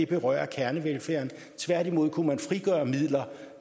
berører kernevelfærd tværtimod kunne man frigøre midler